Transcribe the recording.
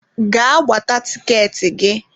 Gaa gbata tikeetị gị!